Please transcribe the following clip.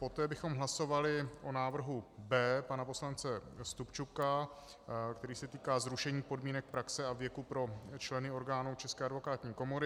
Poté bychom hlasovali o návrhu B pana poslance Stupčuka, který se týká zrušení podmínek praxe a věku pro členy orgánů České advokátní komory.